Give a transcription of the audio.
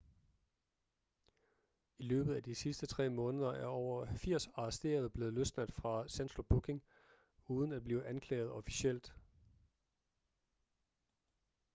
i løbet af de sidste 3 måneder er over 80 arresterede blevet løsladt fra central booking uden at blive anklaget officielt